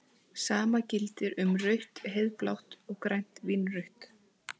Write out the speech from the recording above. Sama gildir um rautt-heiðblátt og grænt-vínrautt.